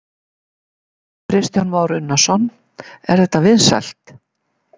Kristján Már Unnarsson: Er þetta vinsælt?